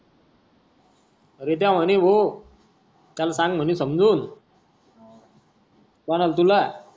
रित्या म्हणे भाऊ त्याला सांग म्हणे समजून. कोणाला तुला